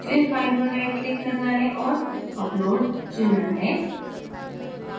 फिर फ़ाइल पर rightclick करना है और upload select करना है